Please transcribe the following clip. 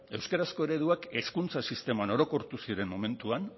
euskarazko ereduak hezkuntza sisteman orokortu ziren momentuan